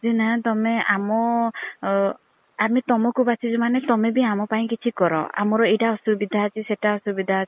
ଯେ ନା ତମେ ଆମ ଆମେ ତମକୁ ବାଛିଛୁ ମାନେ ତମେବୀ ଆମ ପାଇଁ କିଛି କର ଆମର ଏଇତା ଅସୁବିଧା ଅଛି ସେଇଟା ଅସୁବିଧା ଅଛି